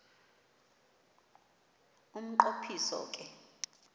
umnqo phiso ke